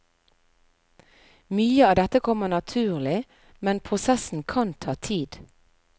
Mye av dette kommer naturlig, men prosessen kan ta tid.